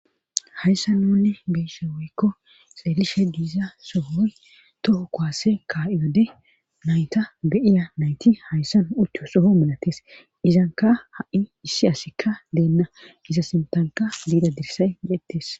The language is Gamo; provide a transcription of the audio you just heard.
hayssa nunne beyisse woykko xeelishe diiza sohoy toho kowase ka7iyode nayta beyiya nayti hayssa ucuyo soho manates izanka ha7i issi asikka deenna iza sintanka biida dirsay de7ettes